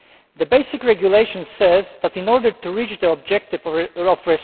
The basic regulation says In order to reach the objective of